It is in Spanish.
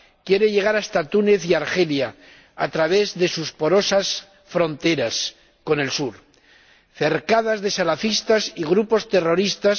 Quiere llegar hasta Túnez y Argelia a través de sus porosas fronteras con el sur, cercadas de salafistas y grupos terroristas.